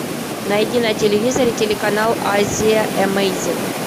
найди на телевизоре телеканал азия эмейзин